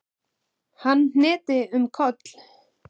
Hann hnyti um koll!